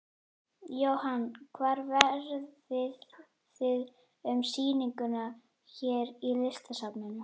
Jóhann: Hvar verðið þið með sýninguna hér í Listasafninu?